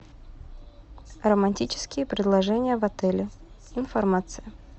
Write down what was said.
романтические предложения в отеле информация